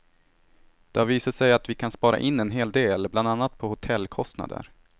Och det har visat sig att vi kan spara in en hel del, bland annat på hotellkostnader.